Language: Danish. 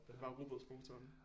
Det er bare rugbrødsmotoren